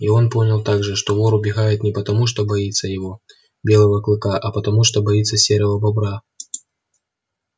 и он понял также что вор убегает не потому что боится его белого клыка а потому что боится серого бобра